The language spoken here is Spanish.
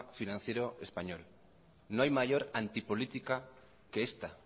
financiero español no hay mayor antipolítica que esta